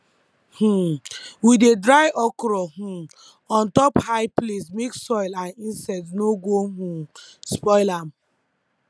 um we dey dry okra um on top high place make soil and insects no go um spoil am